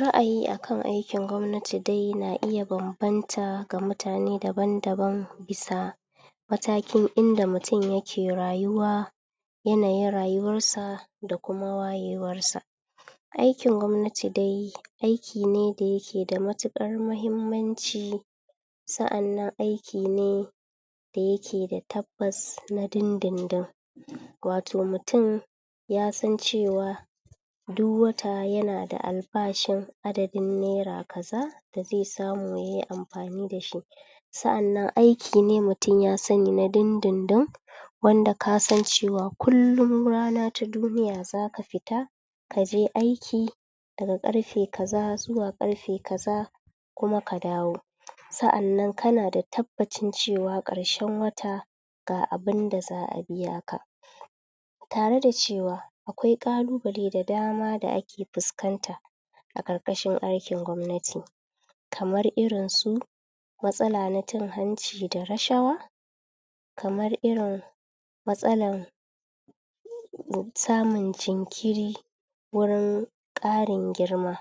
Ra'ayi akan aikin gwabnati dai yana iya banbanta ga mutane da ban-daban sa'anan matakokin da mutum yake rayuwa yana yin rayuwar sa da kuma wayewar sa aikin gwabnati dai aiki ne da yake da matukar muhimman ci sa'an nan aiki ne da yake da tabbas da dundun dun wato mutum yasan cewa duk wata yanada albashin adadin nera kaza da ze samu yayi amfani da shi sa'an nan aiki ne mutum yasani na dindin-din wanda kasan cewa kullum rana ta duniya zaka fita kaje aiki daga karfe kaza zuwa karfe kaza kuma kadawo sa'an nan kana da tabbashin cewa karshe wata ga abun da za'a biya ka tare da cewa akwai kalu bale da dama da ake fuskan ta a karkashin aikin gwabnati kamar irin su matsala na cin hanci da rashawa kamar irin matsalan um samun jinkiri wurin karin girma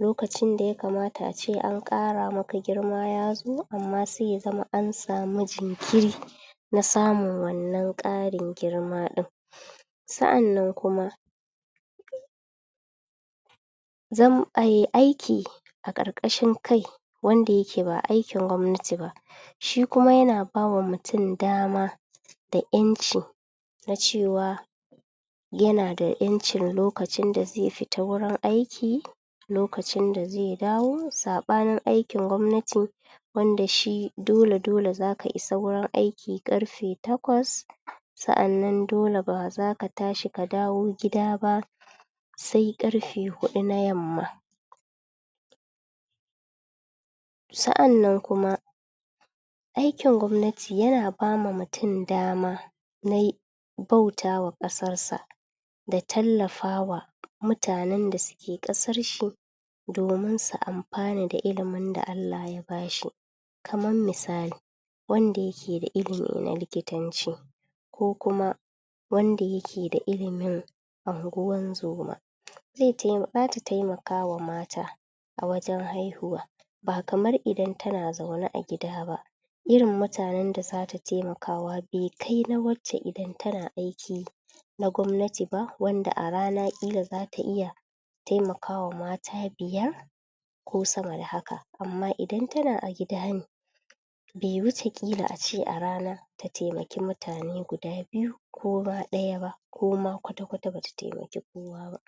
lokacin dayakamata ace an kara maka girma ya zo amma se yazama an samu jinkiri na samun wannan karin girma din sa'an nan kuma zam ai aiki a karkashin kai wanda yake ba aikin gwabnati ba shi kuma yana bama mutum dama da yanci na cewa yana yancin lokacin da ze fita wurin aiki lokacin da ze dawo sabanin aiki gwabnati wanda shi dole dole zaka isa wurin aiki karfe takwas sa'an nan dole bazaka tashi ka dawo gida ba se karfe hudu na yamma sa'an nan kuma aikin gwabnati yana bama mutum dama na bauta ma kasar sa da tallafawa mutanen da suke kasar shi domin su amfana da ilimin da allah ya bashi kaman misali wanda yake da ilimi na likitanci ko kuma wanda yake da ilimin anguwan zoma zeta zata temakama mata a wajen haihuwa ba kamar idan tana zau ne a gida ba irin mutanen da zata temakawa be kai na wacce idan tana aiki na gwabnati ba wanda a rana kila zata iya temaka wa mata biyar ko sama da haka amma idan tana a gida ne be wuce kila ace a rana ta temaki mutane biyu ko ma daya ba koma kwatakwata bata temaki kowa ba